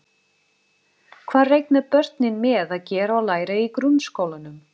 Hvað reikna börnin með að gera og læra í grunnskólanum?